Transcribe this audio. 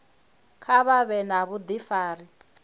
kha vha vhe na vhudifari